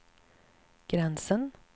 gränsen